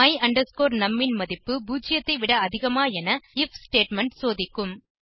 my num ன் மதிப்பு 0 ஐ விட அதிகமா என ஐஎஃப் ஸ்டேட்மெண்ட் சோதிக்கும்